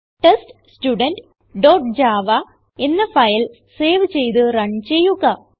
test student dot java എന്ന file save ചെയ്ത് run ചെയ്യുക